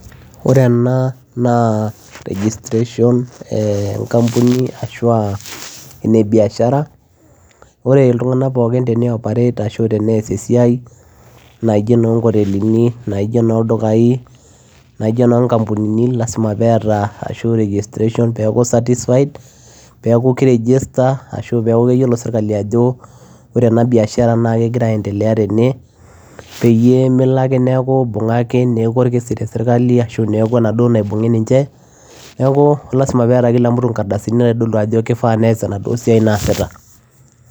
Ore ena naa registration enkampuni ashu aa ene biashara ore iltung'anak pookin tenioperate ashu tenees esiai naa ijio enonkotelini naa ijio enoldukai naa ijo enoonkampunini naa lasima pee eeta ashu registration peerku certified peeku kiregister ashu peeku keyiolo sirkali ajo ore ena biashara naa kegira aiendelea tene peyie melo ake neeku ibung'aki neeku orkesi te sirkali ashu neeku enaduo naibung'i ninche neeku lasima peeta kila mtu nkardasini naitodolu ajo kifaa pees enaduo siai naasita.